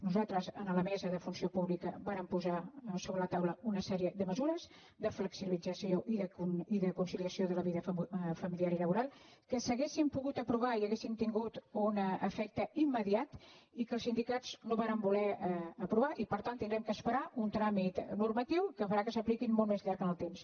nosaltres en la mesa de funció pública vàrem posar sobre la taula una sèrie de mesures de flexibilització i de conciliació de la vida familiar i laboral que s’hauri·en pogut aprovar i haurien tingut un efecte immediat i que els sindicats no varen voler aprovar i per tant haurem d’esperar un tràmit normatiu que farà que s’apliquin molt més llarg en el temps